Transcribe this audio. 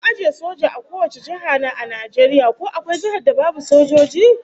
An ajiye soja a kowace jiha na Najeriya, ko akwai jihar da babu sojoji?